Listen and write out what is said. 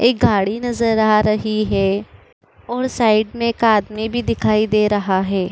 एक गाड़ी नजर आ रही है और साइड में एक आदमी भी दिखाई दे रहा है।